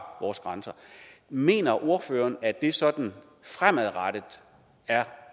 vores grænser mener ordføreren at det sådan fremadrettet er